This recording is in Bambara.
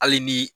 Hali ni